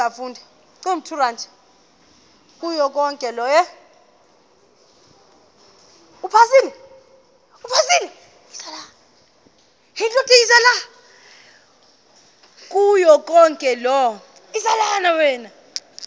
kuyo yonke loo